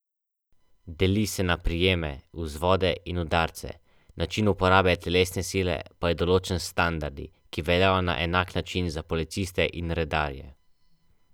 Najbolj zagreti zagovorniki naše pravne ureditve v teh dneh verjetno zardevajo.